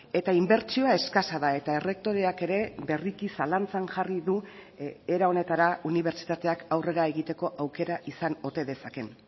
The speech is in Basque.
eta inbertsioa eskasa da eta errektoreak ere berriki zalantzan jarri du era honetara unibertsitateak aurrera egiteko aukera izan ote dezakeen